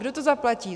Kdo to zaplatí?